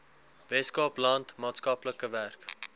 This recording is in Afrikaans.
weskaapland maatskaplike werk